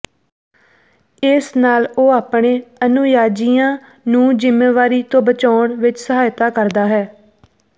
ਇਸ ਨਾਲ ਉਹ ਆਪਣੇ ਅਨੁਯਾਾਇਯੀਆਂ ਨੂੰ ਜ਼ਿੰਮੇਵਾਰੀ ਤੋਂ ਬਚਾਉਣ ਵਿੱਚ ਸਹਾਇਤਾ ਕਰਦਾ ਹੈ